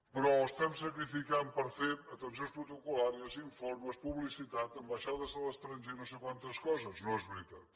però estem sacrificant per fer atencions protocol·làries informes publicitat ambaixades a l’estranger no sé quantes coses no és veritat